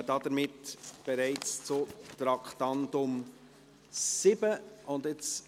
Wir kommen bereits zum Traktandum 7.